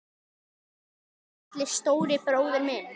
Elsku litli, stóri bróðir minn.